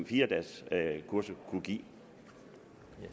fire dages kursus kan give